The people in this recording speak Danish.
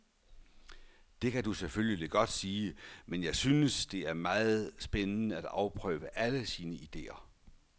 Det kan du selvfølgelig godt sige, men jeg synes, det er meget spændende at afprøve alle sine idéer.